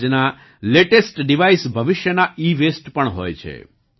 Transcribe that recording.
આજના latest device ભવિષ્યના ઈવેસ્ટ પણ હોય છે